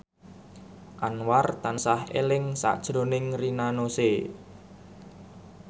Anwar tansah eling sakjroning Rina Nose